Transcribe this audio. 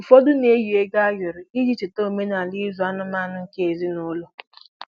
Ụfọdụ na-eyi ego ayoro iji cheta omenala ịzụ anụmanụ nke ezinụlọ.